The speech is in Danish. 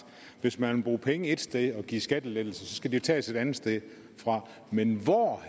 hvis man vil bruge penge et sted og give skattelettelser så skal de tages et andet sted fra men hvor